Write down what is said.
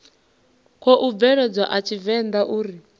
khou bveledzwa a tshivenḓa uri